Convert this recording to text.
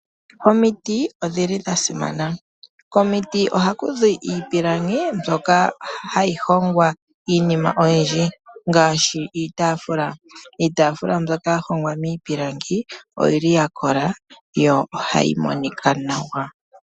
Omiti odhili dhasimana. Komiti ohaku zi iipilangi mbyoka hayi hongwa iinima oyindji, ngaashi iitaafula. Iitaafula mbyoka ya hongwa miipilangi oyili ya kola, yo ohayi monika nawa.